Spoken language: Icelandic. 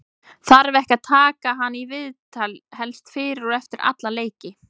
þarf ekki að taka hann í viðtal helst fyrir og eftir alla leiki?